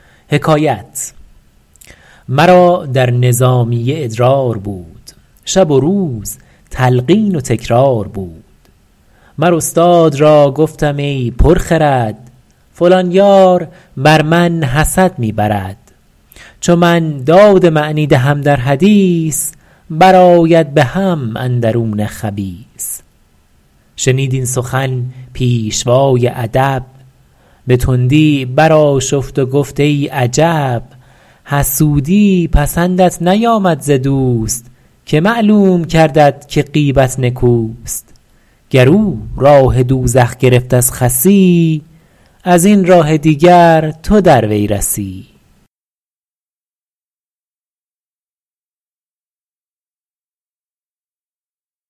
مرا در نظامیه ادرار بود شب و روز تلقین و تکرار بود مر استاد را گفتم ای پر خرد فلان یار بر من حسد می برد چو من داد معنی دهم در حدیث بر آید به هم اندرون خبیث شنید این سخن پیشوای ادب به تندی برآشفت و گفت ای عجب حسودی پسندت نیامد ز دوست که معلوم کردت که غیبت نکوست گر او راه دوزخ گرفت از خسی از این راه دیگر تو در وی رسی